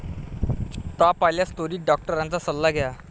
ताप आल्यास त्वरित डॉक्टरांचा सल्ला घ्या.